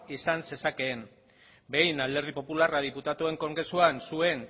izan zezakeen behin alderdi popularra diputatuen kongresuan zuen